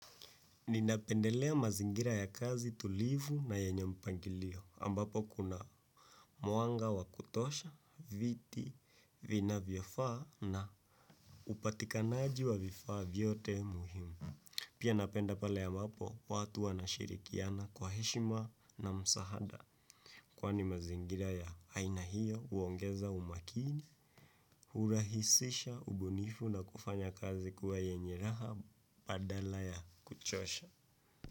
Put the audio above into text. Ninapendelea mazingira ya kazi tulivu na yenye mpangilio. Ambapo kuna muanga wa kutosha, viti, vina vyofaa na upatikanaji wa vifaa vyote, muhimu. Pia, napenda pale ya mapo watu wanashirikiana kwa heshima na msahada. Kwani mazingira ya haina hiyo uongeza umakini, hurahisisha, ubunifu na kufanya kazi kuwa yenye raha, badala ya kuchosha.